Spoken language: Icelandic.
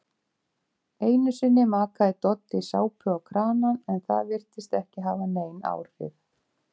Einusinni makaði Doddi sápu á kranann en það virtist ekki hafa nein áhrif.